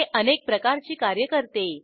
हे अनेक प्रकारची कार्य करते